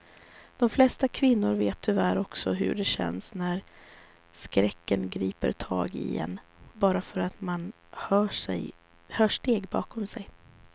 De flesta kvinnor vet tyvärr också hur det känns när skräcken griper tag i en bara för att man hör steg bakom sig.